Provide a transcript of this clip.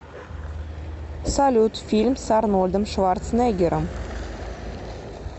салют фильм с арнольдом шварцнеггером